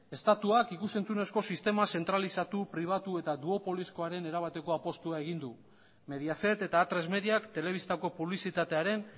estatuak ikus entzunezko sistema zentralizatu pribatu eta erabateko apustua egin du mediaset eta atresmediak telebistako publizitatearen